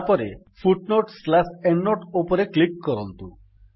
ତାପରେ footnoteଏଣ୍ଡନୋଟ ଅପ୍ସନ୍ ଉପରେ କ୍ଲିକ୍ କରନ୍ତୁ